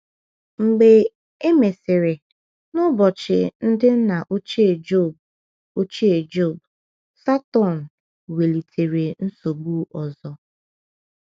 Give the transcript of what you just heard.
Mgbe e mesịrị, n’ụbọchị ndị nna ochie Jọb, ochie Jọb, Satọn welitere nsogbu ọzọ.